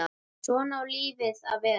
Svona á lífið að vera.